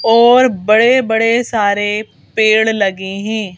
और बड़े बड़े सारे पेड़ लगे हैं।